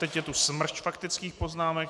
Teď je tu smršť faktických poznámek.